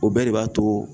O bɛɛ de b'a to